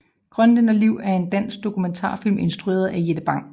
Grønlænderliv er en dansk dokumentarfilm instrueret af Jette Bang